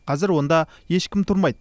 қазір онда ешкім тұрмайды